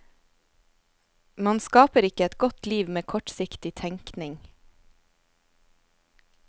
Man skaper ikke et godt liv med kortsiktig tenkning.